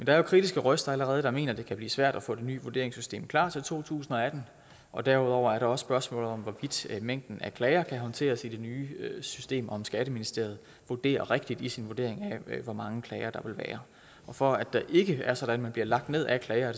er jo kritiske røster allerede der mener at det kan blive svært at få det nye vurderingssystem klar til to tusind og atten og derudover er der også spørgsmålet om hvorvidt mængden af klager kan håndteres i det nye system og om skatteministeriet vurderer rigtigt i sin vurdering af hvor mange klager der vil være for at det ikke er sådan at man bliver lagt ned af klager er